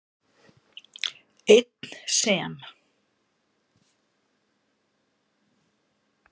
Einn sem